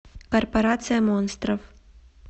корпорация монстров